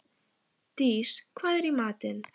Dís, hvað er í matinn?